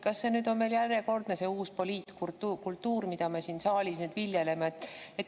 Kas see on järjekordne uus poliitkultuur, mida me siin saalis nüüd viljeleme?